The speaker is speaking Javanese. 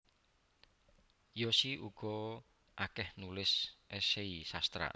Yosi uga akeh nulis esei sastra